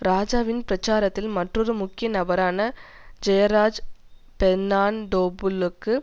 இராஜாவின் பிரச்சாரத்தில் மற்றொரு முக்கிய நபரான ஜெயராஜ் பெர்னாண்டோபுள்ளக்கு